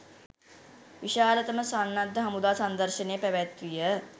විශාලතම සන්නද්ධ හමුදා සංදර්ශනය පැවැත්විය.